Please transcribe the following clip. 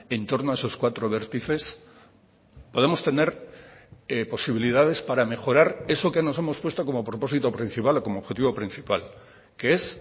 en torno a esos cuatro vértices podemos tener posibilidades para mejorar eso que nos hemos puesto como propósito principal como objetivo principal que es